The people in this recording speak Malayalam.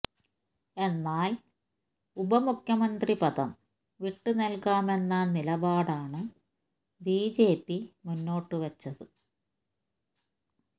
എന്നാല് ഉപമുഖ്യമന്ത്രി പദം വിട്ട് നല്കാമെന്ന നിലപാടാണ് ബിജെപി മുന്നോട്ട് വെച്ചത്